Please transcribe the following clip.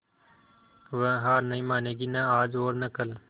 वह हार नहीं मानेगी न आज और न कल